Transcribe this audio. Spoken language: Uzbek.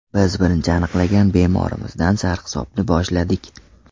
Biz birinchi aniqlagan bemorimizdan sarhisobni boshladik.